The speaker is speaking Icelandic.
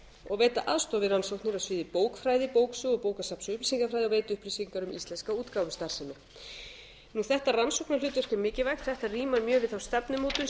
og veita aðstoð við rannsóknir á sviði bókfræði bóksögu og bókasafns og upplýsingafræði og veita upplýsingar um íslenska útgáfustarfsemi þetta rannsóknarhlutverk er mikilvægt þetta rímar mjög við þá stefnumótun sem